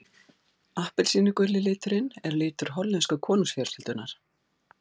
Appelsínuguli liturinn er litur hollensku konungsfjölskyldunnar.